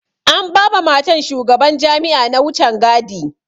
An ba ma matan shugaban jami'a na wucen gadi.